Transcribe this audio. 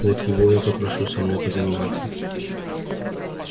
вот его я и попрошу со мной позаниматься